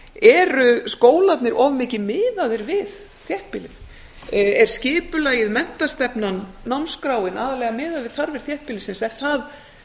eru skólarnir of mikið miðaðir við þéttbýlið er skipulagið menntastefnan námskráin aðallega miðuð við þarfir þéttbýlisins er það